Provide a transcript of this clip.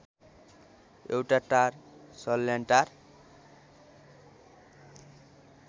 एउटा टार सल्यानटार